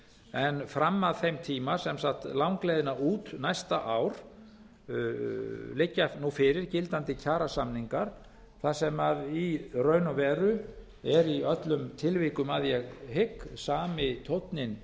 en fram að þeim tíma sem sagt langleiðina út næsta ár liggja nú fyrir gildandi kjarasamningar þar sem í raun og veru eru í öllum tilvikum að ég hygg sami tónninn